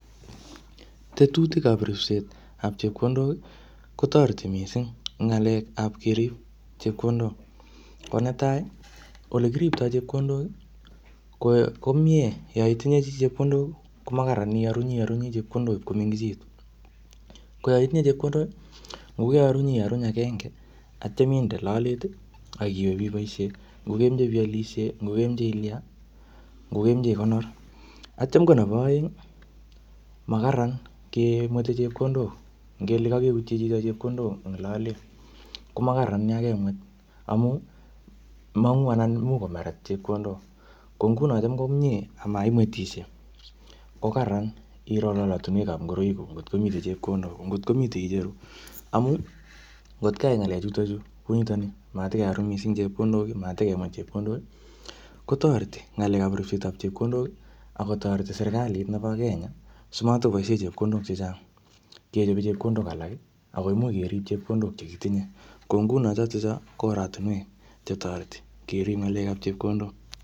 Tetutikab ripsetab chepkondok, kotoreti missing eng ng'alekap kerib chepkodok. Ko netai, ole kiriptoi chepkondok, ko ko miee yaitinye chii chepkondok, ko makararan iarunyi arunyi chepkondok ipkomengechitu. Ko yaitinye chepkondok, ngokearunyi iaruny agenge, atyam inde lolet, akiwe biboisie. Ngokemeche pialsie, ngokemeche ilya, ngokemeche ikonor. Atyam ko nebo aeng, makararan kemwete chepkondok. Ngele kakeutie chito chepkondok ing lolet, ko makararan yakemwet. Amuu, mongu anan imuch komeret chepkondok. Ko nguno cham ko miee amaimwetishie, ko kararan iro lolotunwekap ngoroik kuk ngotkomite chepkondok. Ko ngotkomite icheru. Amuu, ngotkeyai ngalechutochu kunitoni, matikearuny missing chepkondok, matikemwet chepkondok, kotoreti ng'alekap ripset nebo chepkondok akotoreti serikalit nebo Kenya, simatikoboisie chepkondok chechang kechope chepkondok alak, akoimuch kerip chepkondok che kitinye. Ko nguno chotocho, ko oratunwek che toreti, kerip ng'alekap chepkondok.